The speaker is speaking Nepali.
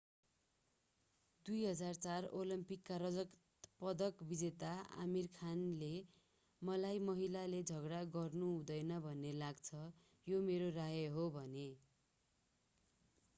2004 ओलम्पिकका रजत पदक विजेता आमीर खानले मलाई महिलाले झगडा गर्नु हुँदैन भन्ने लाग्छ यो मेरो राय हो भने